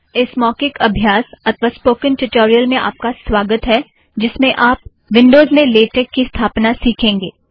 इस मौखिक अभ्यास अथ्वा स्पोकन ट्युटोरियल में आप का स्वागत है जिसमें आप विन्ड़ोज़ में लेटेक की स्थापना सिखेंगे